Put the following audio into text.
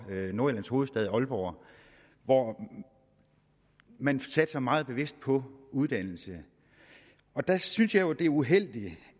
nordjyllands hovedstad aalborg hvor man satser meget bevidst på uddannelse der synes jeg jo at det er uheldigt